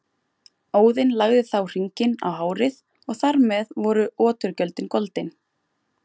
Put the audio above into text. Óðinn lagði þá hringinn á hárið og þar með voru oturgjöldin goldin.